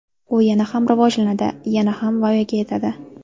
U yana ham rivojlanadi, yana ham voyaga yetadi.